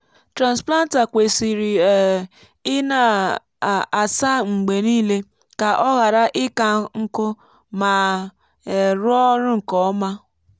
transplanter kwesịrị um ị na-asa mgbe niile ka ọ ghara ịka nkụ ma um rụọ ọrụ nke ọma. um